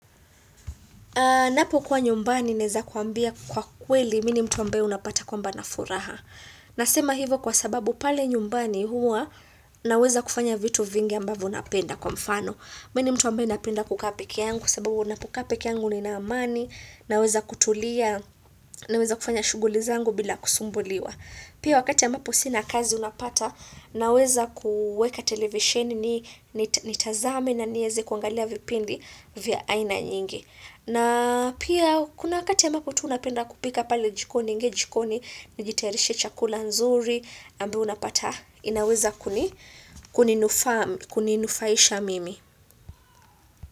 Napokuwa nyumbani naweza kuambia kwa kweli mimi ni mtu ambae unapata kwamba nina furaha. Nasema hivyo kwa sababu pale nyumbani huwa naweza kufanya vitu vingi ambavyo napenda kwa mfano. Mimi ni mtu ambae napenda kukaa pekeangu kwa sababu ninapokaa pekeangu nina amani, naweza kutulia naweza kufanya shughuli zangu bila kusumbuliwa. Pia wakati ambapo sina kazi unapata naweza kuweka televisheni nitazame na niweze kuangalia vipindi vya aina nyingi. Na pia kuna wakati ambapo tu napenda kupika pale jikoni naingia jikoni najitayarishia chakula nzuri ambayo unapata inaweza kuninufahisha mimi.